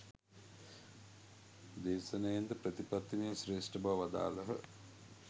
දේශනයෙන්ද ප්‍රතිපත්තියම ශ්‍රේෂ්ඨ බව වදාළහ.